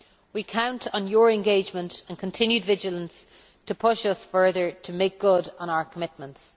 We count on your engagement and continued vigilance to push us further to make good on our commitments.